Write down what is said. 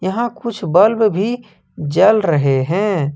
यहाँ कुछ बल्ब भी जल रहे हैं।